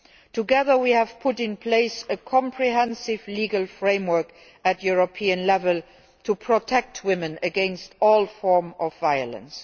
Together, we have put in place a comprehensive legal framework at European level to protect women against all forms of violence.